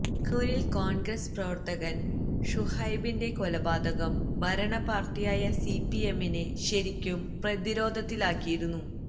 കണ്ണൂരിൽ കോൺഗ്രസ് പ്രവർത്തകൻ ഷുഹൈബിന്റെ കൊലപാതകം ഭരണപ്പാർട്ടിയായ സിപിഎമ്മിനെ ശരിക്കും പ്രതിരോധത്തിലാക്കിയിരുന്നു